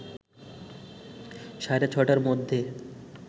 সাড়ে ৬টার মধ্যে